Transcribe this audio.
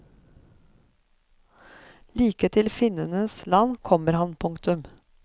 Like til finnenes land kommer han. punktum